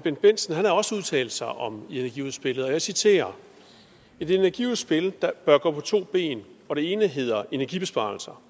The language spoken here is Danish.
bendt bendtsen har også udtalt sig om energiudspillet og jeg citerer et energiudspil bør gå på to ben og det ene hedder energibesparelser